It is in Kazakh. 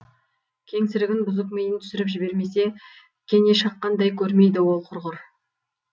кеңсірігін бұзып миын түсіріп жібермесе кене шаққандай көрмейді ол құрғыр